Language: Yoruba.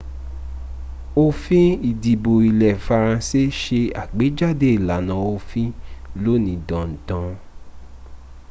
òfin ìdìbò ilẹ́ faranse se àgbéjáde ìlànà òfin lóní danda